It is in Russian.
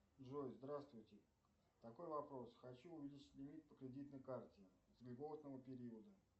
джой здравствуйте такой вопрос хочу увеличить лимит по кредитной карте с льготного периода